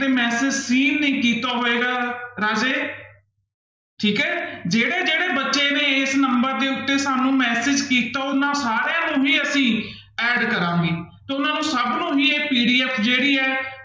ਨੀ ਕੀਤਾ ਹੋਏਗਾ ਰਾਜੇ ਠੀਕ ਹੈ, ਜਿਹੜੇ ਜਿਹੜੇ ਬੱਚੇ ਨੇ ਇਸ number ਦੇ ਉੱਤੇ ਸਾਨੂੰ message ਕੀਤਾ ਉਹਨਾਂ ਸਾਰਿਆਂ ਨੂੰ ਹੀ ਅਸੀਂ add ਕਰਾਂਗੇ ਤੇ ਉਹਨਾਂ ਨੂੰ ਸਭ ਨੂੰ ਹੀ ਇਹ PDF ਜਿਹੜੀ ਹੈ